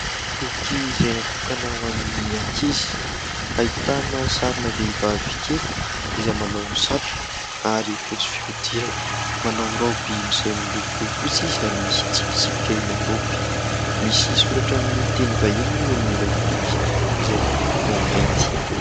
Boky izay natokana ho an'ny ankizy, ahitana sarina vehivavy kely izay manao satroka ary fotsy fihodirana, manao raoby izay miloko fotsy izy ary misy tsipitsipika ilay raoby. Misy soratra amin'ny teny vahiny moa eo amin'ilay boky, izay miloko mainty.